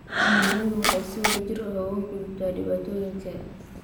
Shinnidu waxay si wadajir ah uga gudubtaa dhibaatooyinka.